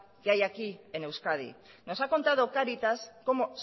que hay aquí en euskadi nos ha contado cáritas como